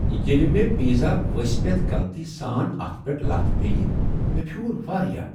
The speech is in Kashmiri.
ییٚلہ مےٚ پیزا ؤسۍ پیتھ غلطی سان اتھ پیٹھ لتھ پیٚیہ مےٚ پھیوٗر واریاہ۔